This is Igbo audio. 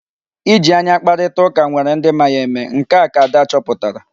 Iji anya kparịtaa ụka nwere ndị ma ya eme. Nke a ka Ada chọpụtara.